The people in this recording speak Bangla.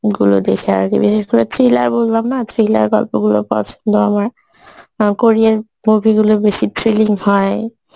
গুলো দেখে আরকি বিশেষ করে thriller বললাম না thriller গল্পগুলো পছন্দ আমার, অ্যাঁ কোরিয়ার movie গুলো বেশি thrilling হয়